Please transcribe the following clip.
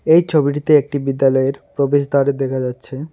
এই ছবিটিতে একটি বিদ্যালয়ের প্রবেশদ্বার দেখা যাচ্ছে।